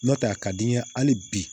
N'o tɛ a ka di n ye hali bi